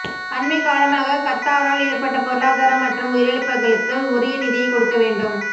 அண்மைக் காலமாக கத்தாரால் ஏற்பட்ட பொருளாதார மற்றும் உயிரிழப்புகளுக்கு உரிய நிதியை கொடுக்க வேண்டும்